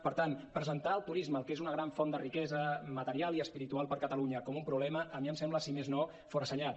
per tant presentar el turisme que és una gran font de riquesa material i espiritual per a catalunya com un problema a mi em sembla si més no forassenyat